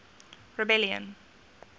rebellion